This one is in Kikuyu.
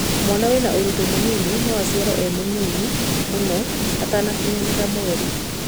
Mwana wĩna ũritũ mũnini no aciarwo e mũnini mũno, atakinyanĩirie kana merĩ.